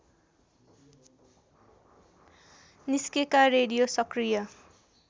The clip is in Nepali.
निस्केका रेडियो सक्रिय